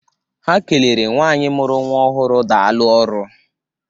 Ha kelere nwaanyị mụrụ nwa ọhụrụ daalụ ọrụ.